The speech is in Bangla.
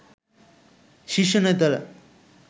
শীর্ষ নেতারা